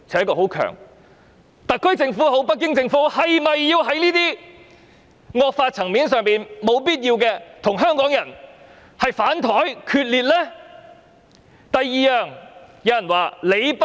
無論是特區政府也好，北京政府也好，是否要在這些惡法的層面毫無必要地與香港人"反檯"決裂呢？